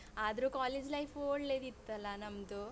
ಹ್ಮ್ ಹೌದು ಆದ್ರು college life ಒಳ್ಳೇದಿತ್ತಲ್ಲಾ ನಮ್ದು?